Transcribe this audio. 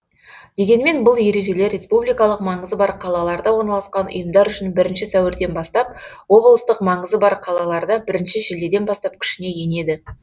дегенмен бұл ережелер республикалық маңызы бар қалаларда орналасқан ұйымдар үшін бірінші сәуірден бастап облыстық маңызы бар қалаларда бірінші шілдеден бастап күшіне енеді